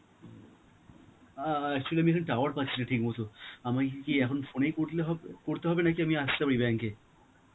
অ্যাঁ আ actually আমি এখন tower পাচ্ছিনা ঠিক মতন. আমায় কি এ~ এখন phone ই করলে হবে~ করতে হবে নাকি আমি আসতে হবে ওই bank এ?